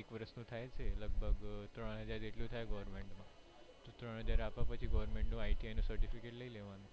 એક વરસ નું થાય છે લગભગ ત્રણ હજાર રૂપિયા જેટલું થાય છે goverment નું ત્રણ હજાર આપ્યા પછી goverment નું ITI certificate લઇ લેવાનું